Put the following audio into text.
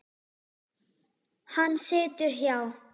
Hann situr hjá